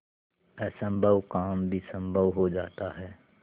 असम्भव काम भी संभव हो जाता है